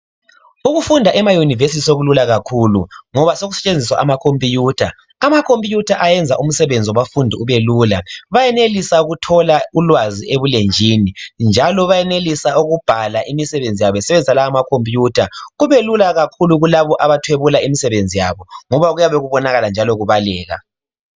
ukufunda ema university sokulula kakhulu ngoba sokusetshenziswa ama computer ama computer ayenza umsebenzi wabafundi ube lula bayenelisa ukuthola ulwazi ebulenjini njalo bayenelisa ukubhala imisebenzi yabo besebenzisa lawa ma computer kubelula kakhulu kulabo abathwebula imisebenzi yabo ngoba kuyabe kubonakala njalo kubaleka